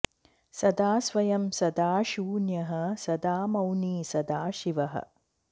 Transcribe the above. सदा स्वयं सदा शून्यः सदा मौनी सदा शिवः